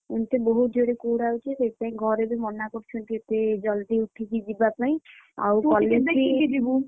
ସେ ବହୁତ ଜୋରେ କୁହୁଡି ହଉଛି ସେଇଥିପାଇଁ ଘରେ ବି ମନା କରୁଛନ୍ତି ଏତେ ଜଳଦି ଉଠିକି ଯିବା ପାଇଁ, ଆଉ college ବି ତୁ ଟିକେ ଦେଖିକି ଯିବୁ।